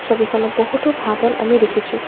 ছবিখনত বহুতো ঘাঁহ বন আমি দেখিছোঁ।